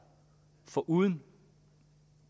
foruden